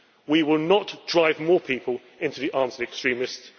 We will not drive more people into the arms of extremists.